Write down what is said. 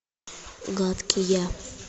гадкий я